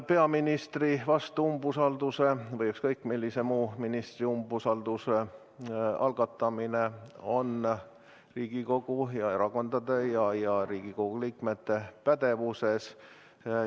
Peaministri vastu või ükskõik millise ministri umbusaldamise algatamine on Riigikogu ja erakondade ja Riigikogu liikmete pädevuses.